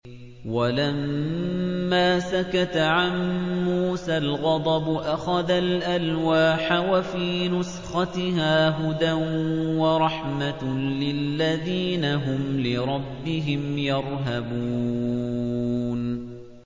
وَلَمَّا سَكَتَ عَن مُّوسَى الْغَضَبُ أَخَذَ الْأَلْوَاحَ ۖ وَفِي نُسْخَتِهَا هُدًى وَرَحْمَةٌ لِّلَّذِينَ هُمْ لِرَبِّهِمْ يَرْهَبُونَ